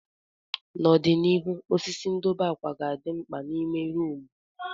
N'ọdịnihu, osisi ndobe akwa ga-adị mkpa n'ime rumụ.